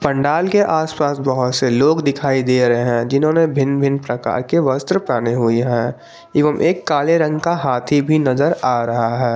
पंडाल के आसपास बहुत से लोग दिखाई दे रहे हैं जिन्होंने भिन्न भिन्न प्रकार के वस्त्र पहने हुए हैं एवं एक काले रंग का हाथी भी नजर आ रहा है।